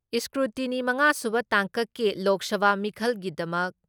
scrutiny ꯃꯉꯥꯁꯨꯕ ꯇꯥꯡꯀꯛꯀꯤ ꯂꯣꯛ ꯁꯚꯥ ꯃꯤꯈꯜꯒꯤꯗꯃꯛ